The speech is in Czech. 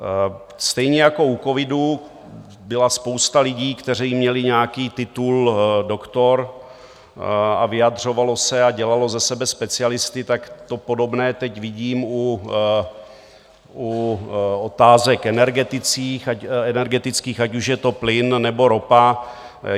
Stejně jako u covidu byla spousta lidí, kteří měli nějaký titul doktor, a vyjadřovala se a dělala ze sebe specialisty, tak to podobné teď vidím u otázek energetických, ať už je to plyn, nebo ropa.